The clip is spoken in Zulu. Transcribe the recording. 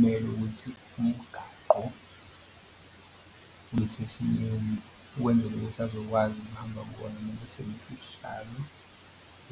Kumele ukuthi umgaqo ubesesimeni ukwenzela ukuthi azokwazi ukuhamba kuwona uma besebenzise isihlalo